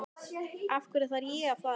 Af hverju þarf ég að fara?